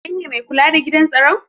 Kai ne mai kula da gidan staron?